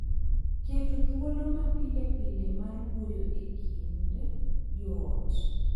Keto thuolo ma pile pile mar wuoyo e kind joot